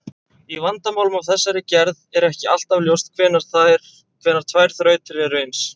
Í vandamálum af þessari gerð er ekki alltaf ljóst hvenær tvær þrautir eru eins.